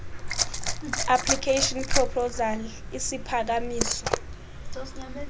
application proposal isiphakamiso